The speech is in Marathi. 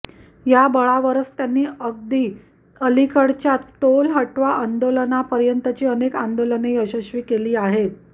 त्या बळावरच त्यांनी अगदी अलीकडच्या टोल हटाव आंदोलनापर्यंतची अनेक आंदोलने यशस्वी केली आहेत